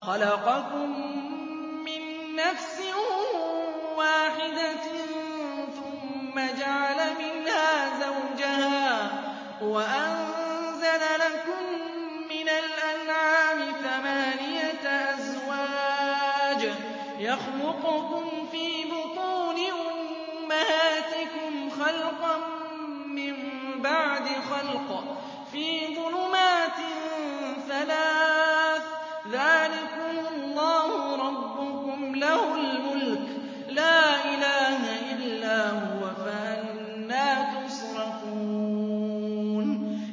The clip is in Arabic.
خَلَقَكُم مِّن نَّفْسٍ وَاحِدَةٍ ثُمَّ جَعَلَ مِنْهَا زَوْجَهَا وَأَنزَلَ لَكُم مِّنَ الْأَنْعَامِ ثَمَانِيَةَ أَزْوَاجٍ ۚ يَخْلُقُكُمْ فِي بُطُونِ أُمَّهَاتِكُمْ خَلْقًا مِّن بَعْدِ خَلْقٍ فِي ظُلُمَاتٍ ثَلَاثٍ ۚ ذَٰلِكُمُ اللَّهُ رَبُّكُمْ لَهُ الْمُلْكُ ۖ لَا إِلَٰهَ إِلَّا هُوَ ۖ فَأَنَّىٰ تُصْرَفُونَ